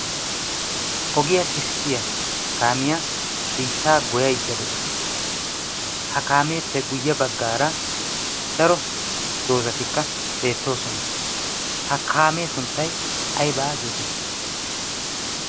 ogiyaa kessiya kaamiyaa biittaa goyaydda de'aosu ha kaameeppe guyye baggaara daro doozatikka beettoosona. ha kaamee sunttai aybaa geetettii?